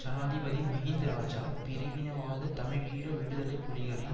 ஜனாதிபதி மஹிந்த் இராஜா பிரிவினவாத தமிழீழ விடுதலை புலிகளின்